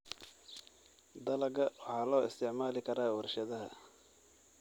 Dalagga waxaa loo isticmaali karaa warshadaha.